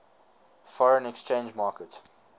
foreign exchange market